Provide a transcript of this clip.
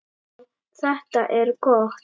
Já, þetta er gott!